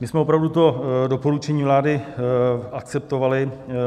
My jsme opravdu to doporučení vlády akceptovali.